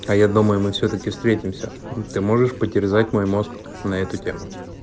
а я думаю мы всё-таки встретимся ты можешь потерзать мой мозг на эту тему